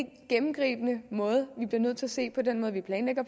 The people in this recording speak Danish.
gennemgribende vi bliver nødt til at se på den måde vi planlægger